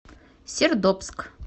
сердобск